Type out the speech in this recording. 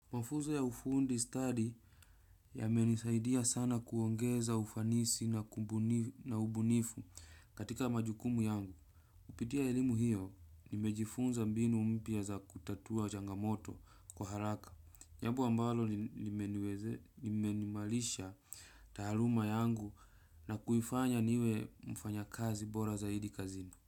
Mafunzo ya ufundi study yamenisaidia sana kuongeza ufanisi na ubunifu katika majukumu yangu. Kupitia elimu hiyo nimejifunza mbinu mpya za kutatua changamoto kwa haraka. Jambo ambalo limeniimarisha taaluma yangu na kuifanya niwe mfanya kazi bora zaidi kazini.